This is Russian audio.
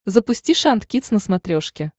запусти шант кидс на смотрешке